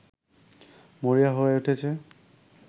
মরিয়া হয়ে উঠেছে